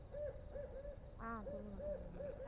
ஆஹ் சொல்லுங்க சொல்லுங்க